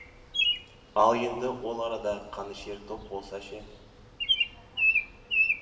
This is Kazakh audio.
ал енді ол арада қанішер топ болса ше